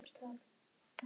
Ég sakna hennar mikið.